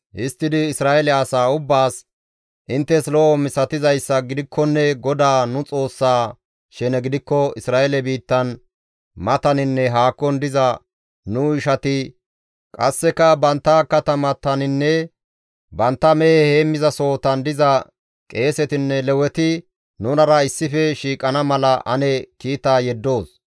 Histtidi Isra7eele asaa ubbaas, «Inttes lo7o misatizayssa gidikkonne GODAA nu Xoossaa shene gidikko Isra7eele biittan mataninne haakon diza nu ishati qasseka bantta katamataninne bantta mehe heemmizasohotan diza qeesetinne Leweti nunara issife shiiqana mala ane kiita yeddoos.